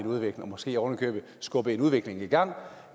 en udvikling og måske oven i købet skubbe en udvikling i gang